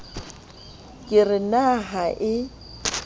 ke re na ha e